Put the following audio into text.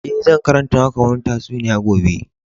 Eh, zan karanta maka wanni tatsuniya gobe.